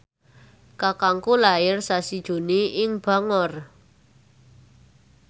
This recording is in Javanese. kakangku lair sasi Juni ing Bangor